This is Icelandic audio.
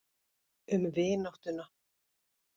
Um vináttuna.